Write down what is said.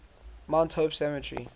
mount hope cemetery